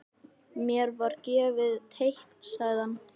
Mér var gefið teikn sagði hann.